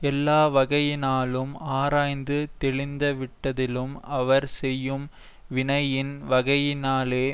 எல்லா வகையினாலும் ஆராய்ந்து தெளிந்தவிடத்திலும் அவர் செய்யும் வினையின் வகையினாலே